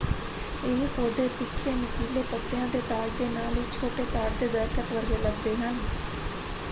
ਇਹ ਪੌਦੇ ਤਿੱਖੇ ਨੁਕੀਲੇ ਪੱਤਿਆਂ ਦੇ ਤਾਜ ਦੇ ਨਾਲ ਇੱਕ ਛੋਟੇ ਤਾੜ ਦੇ ਦਰੱਖਤ ਵਰਗੇ ਲੱਗਦੇ ਹਨ।